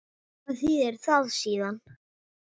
Hvað þýðir það síðan?